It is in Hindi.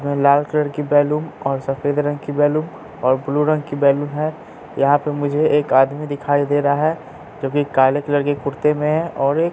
लाल कलर की बैलून और सफेद रंग की बैलून है और ब्लू रंग की बैलून है यहां पे मुझे एक आदमी दिखाई दे रहा है जोकि काले कलर के कुर्ते में है और एक--